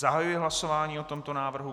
Zahajuji hlasování o tomto návrhu.